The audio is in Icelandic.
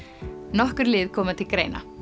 nokkur lið koma til greina